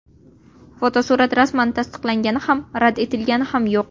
Fotosurat rasman tasdiqlangani ham rad etilgani ham yo‘q.